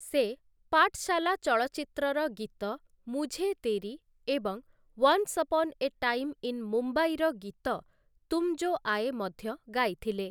ସେ 'ପାଠଶାଲା' ଚଳଚ୍ଚିତ୍ରର ଗୀତ 'ମୁଝେ ତେରୀ' ଏବଂ 'once upon a time in Mumbai' ର ଗୀତ 'ତୁମ୍ ଜୋ ଆଏ' ମଧ୍ୟ ଗାଇଥିଲେ ।